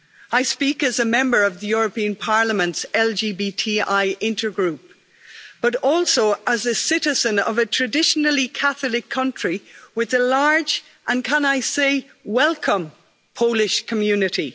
I speak as a member of the European Parliament's LGBTI Intergroup, but also as a citizen of a traditionally Catholic country with a large and, can I say, welcome Polish community.